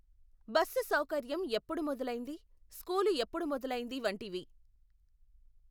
Bus సౌకర్యం ఎప్పుడు మొదలైంది స్కూలు ఎప్పుడు మొదలైంది వంటివి.